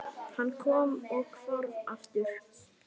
Hann kom og hvarf aftur.